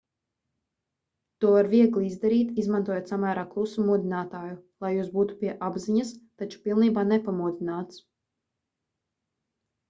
to var viegli izdarīt izmantojot samērā klusu modinātāju lai jūs būtu pie apziņas taču pilnībā nepamodināts